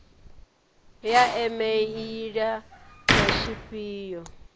ya e meili na tshifhio